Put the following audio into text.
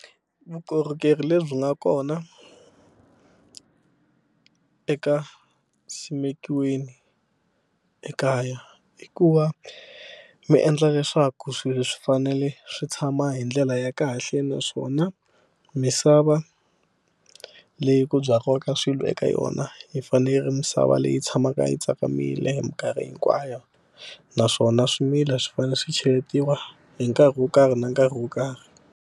Vukorhokeri lebyi nga kona eka simekiweni ekaya i ku va mi endla leswaku swilo swi fanele swi tshama hi ndlela ya kahle naswona misava leyi ku byariwaka swilo eka yona yi fane yi ri misava leyi tshamaka yi tsakamile hi mikarhi hinkwayo naswona swimila swi fanele swi cheletiwa hi nkarhi wo karhi na nkarhi wo karhi.